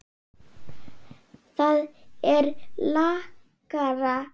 Það er lakara.